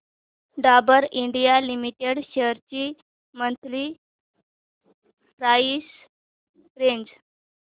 Dabur India limited shares ची monthly price range